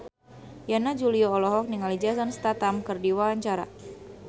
Yana Julio olohok ningali Jason Statham keur diwawancara